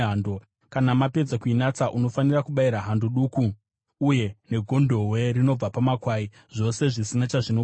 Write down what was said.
Kana mapedza kuinatsa, unofanira kubayira hando duku uye negondobwe rinobva pamakwai, zvose zvisina chazvinopomerwa.